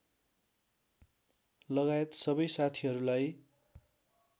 लगायत सबै साथीहरूलाई